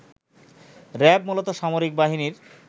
RAB মূলত সামরিক বাহিনীর